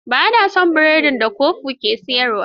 Ba na son biredin da Kofu ya ke siyarwa.